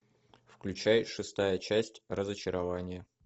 включай шестая часть разочарование